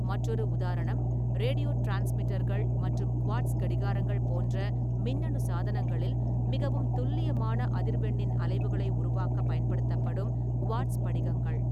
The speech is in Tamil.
மற்றொரு உதாரணம், ரேடியோ டிரான்ஸ்மிட்டர்கள் மற்றும் குவார்ட்ஸ் கடிகாரங்கள் போன்ற மின்னணு சாதனங்களில் மிகவும் துல்லியமான அதிர்வெண்ணின் அலைவுகளை உருவாக்கப் பயன்படுத்தப்படும் குவார்ட்ஸ் படிகங்கள் .